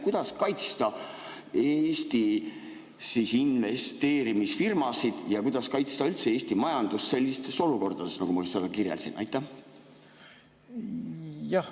Kuidas kaitsta Eesti investeerimisfirmasid ja kuidas kaitsta üldse Eesti majandust sellistes olukordades, nagu ma kirjeldasin?